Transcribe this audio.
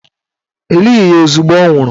E lighi ya ozugbo ọ nwụrụ